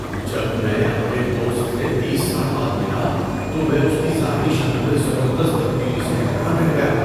جب میں اپنے دوست سے تیس سال بعد ملا تو میں اس کی ظاہری شکل میں زبردست تبدیلی سے حیران رہ گیا۔